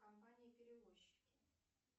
компании перевозчики